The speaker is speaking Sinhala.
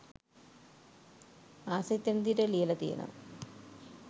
ආස හිතෙන විදිහට ලියල තියෙනවා